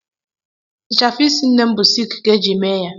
Ịchafụ isi nne m bụ sịịlk ka eji mee ya.